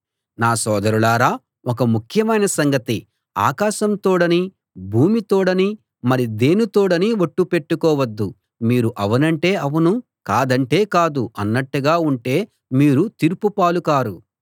నా సోదరులారా ఒక ముఖ్యమైన సంగతి ఆకాశం తోడనీ భూమి తోడనీ మరి దేని తోడనీ ఒట్టు పెట్టుకోవద్దు మీరు అవునంటే అవును కాదంటే కాదు అన్నట్టుగా ఉంటే మీరు తీర్పు పాలు కారు